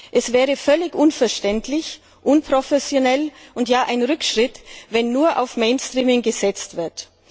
Es wäre völlig unverständlich, unprofessionell und ein Rückschritt, wenn nur auf Mainstreaming gesetzt wird.